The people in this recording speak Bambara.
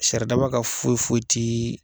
Saridaba ka foyi foyi te.